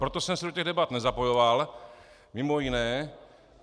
proto jsem se do těch debat nezapojoval, mimo jiné.